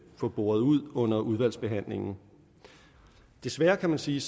få boret ud under udvalgsbehandlingen desværre kan man sige